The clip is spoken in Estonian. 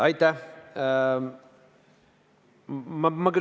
Aitäh!